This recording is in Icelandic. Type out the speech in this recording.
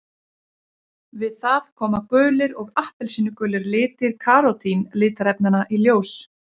Við það koma gulir og appelsínugulir litir karótín litarefnanna í ljós.